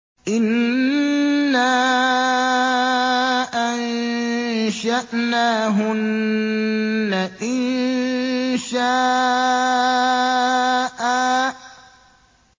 إِنَّا أَنشَأْنَاهُنَّ إِنشَاءً